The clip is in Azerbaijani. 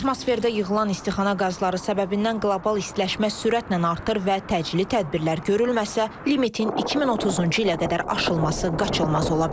Atmosferdə yığılan istixana qazları səbəbindən qlobal istiləşmə sürətlə artır və təcili tədbirlər görülməsə, limitin 2030-cu ilə qədər aşılması qaçılmaz ola bilər.